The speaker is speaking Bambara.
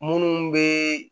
Munnu be